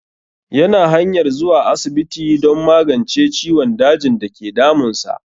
Ya na hanyar zuwa asibiti don magance ciwon dajin dake damun sa